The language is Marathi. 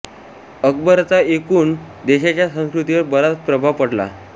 अकबर चा एकूण देशाच्या संस्कृतीवर बराच प्रभाव पडला